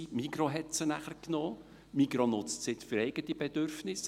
Die Migros hat sie nachher genommen und nutzt sie nun für eigene Bedürfnisse.